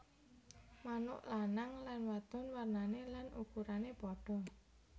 Manuk lanang lan wadon warnané lan ukurané padha